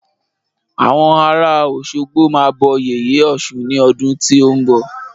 Àwọn ará Òsogbo máa bọ yèyé ọ̀ṣun ní ọdún tí o nbọ